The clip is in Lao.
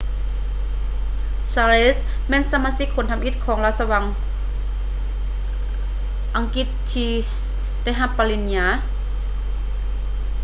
charles ແມ່ນສະມາຊິກຄົນທຳອິດຂອງລາຊະວົງອັງກິດທີ່ໄດ້ຮັບປະລິນຍາ